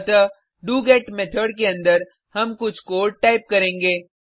अतः do get method के अंदर हम कुछ कोड टाइप करेंगे